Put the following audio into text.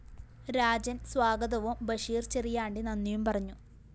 രാജന്‍ സ്വാഗതവും ബഷീര്‍ ചെറിയാണ്ടി നന്ദിയും പറഞ്ഞു